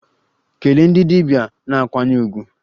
Kelee ndị dibia na nkwanye ùgwù!